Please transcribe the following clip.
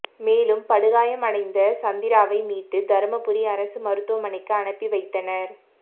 மேலும் படுகாயமடைந்த சந்திராவை மீட்டு தருமபுரி அரசு மருத்துவமணைக்கு அனுப்பி வைத்தனர்